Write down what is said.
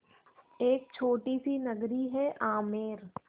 एक छोटी सी नगरी है आमेर